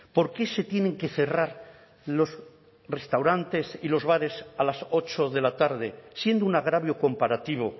por qué se tienen que cerrar los restaurantes y los bares a las ocho de la tarde siendo un agravio comparativo